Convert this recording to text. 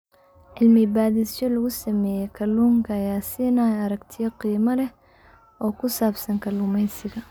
Cilmi-baadhisyo lagu sameeyay kalluunka ayaa siinaya aragtiyo qiimo leh oo ku saabsan kalluumaysiga.